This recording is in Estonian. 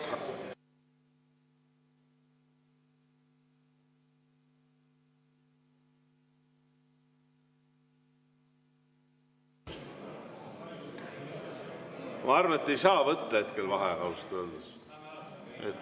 Ma arvan, et hetkel ei saa võtta vaheaega, ausalt öeldes.